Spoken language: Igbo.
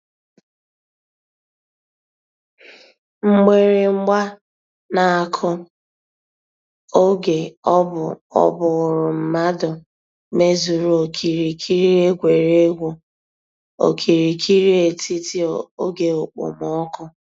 Mgbìrị̀gba nà-àkụ̀ ògè ọ̀ bú ọ́ bụ̀rù mmàdụ̀ mèzùrù òkìrìkìrì ègwè́ré́gwụ̀ òkìrìkìrì ètítì ògè òkpòmọ́kụ̀.